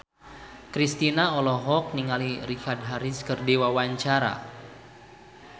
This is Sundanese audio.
Kristina olohok ningali Richard Harris keur diwawancara